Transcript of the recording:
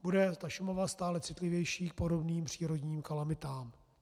Bude ta Šumava stále citlivější k podobným přírodním kalamitám.